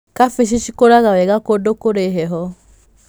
Kabici cikũraga wega kũndũ kũrĩ heho.